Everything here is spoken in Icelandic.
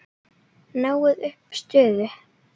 Náið upp suðu.